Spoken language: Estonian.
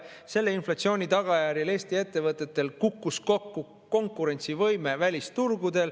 Selle inflatsiooni tagajärjel Eesti ettevõtetel kukkus kokku konkurentsivõime välisturgudel.